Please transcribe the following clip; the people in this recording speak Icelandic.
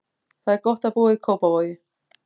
Það er gott að búa í Kóp.